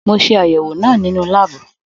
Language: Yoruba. Mo ṣe àyẹwò náà nínú láàbù.